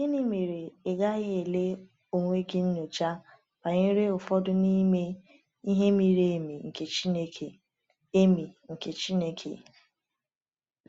Gịnị mere ị gaghị ele onwe gị nyocha banyere ụfọdụ n’ime “ihe miri emi nke Chineke”? emi nke Chineke”?